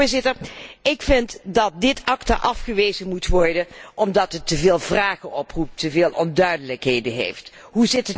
Voorzitter, ik vind dat dit ACTA afgewezen moet worden omdat het te veel vragen oproept, te veel onduidelijkheden bevat.